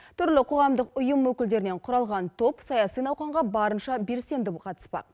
түрлі қоғамдық ұйым өкілдерінен құралған топ саяси науқанға барынша белсенді қатыспақ